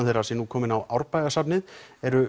þeirra sé nú kominn á Árbæjarsafnið eru